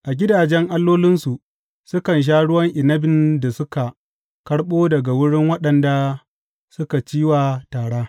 A gidajen allolinsu sukan sha ruwan inabin da suka karɓo daga wurin waɗanda suka ci wa tara.